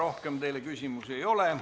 Rohkem teile küsimusi ei ole.